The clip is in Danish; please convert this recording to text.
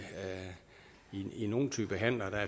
i nogle typer af handler